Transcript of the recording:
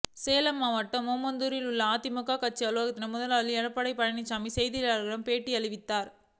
சேலம் மாவட்டம் ஓமலூரில் உள்ள அதிமுக கட்சி அலுவலகத்தில் முதலமைச்சர் எடப்பாடி பழனிசாமி செய்தியாளர்களுக்கு பேட்டி அளித்தார்